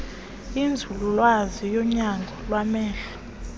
kwinzululwazi yonyango lwamehlo